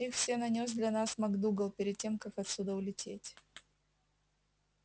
их все нанёс для нас мак-дугал перед тем как отсюда улететь